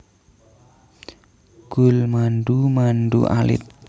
Gulmandu mandu alit